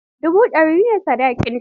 Dubu dari ne sadakinta.